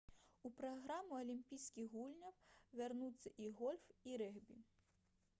у праграму алімпійскіх гульняў вярнуцца і гольф і рэгбі